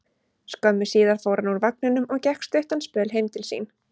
Skömmu síðar fór hann úr vagninum og gekk stuttan spöl heim til sín.